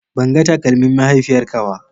Ban ga takalmin mahaifiyarka ba.